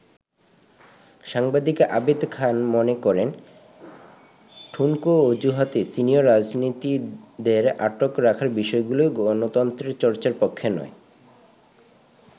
সাংবাদিক আবেদ খান মনে করেন, ঠুনকো অজুহাতে সিনিয়র রাজনীতিকদের আটক রাখার বিষয়গুলো গণতন্ত্রের চর্চার পক্ষে নয়।